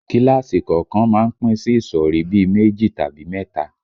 Kíláàsì kọ̀ọ̀kan má ń pín sí ìsọ̀rí bí i méjì tàbí mẹ́ta